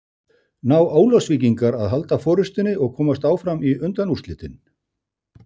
Ná Ólafsvíkingar að halda forystunni og komast áfram í undanúrslitin?